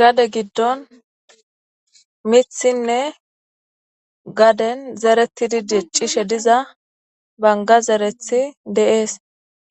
Gade gidon mithiynne gaden zeretidi dic'ishe diza Banga zerethi de'es.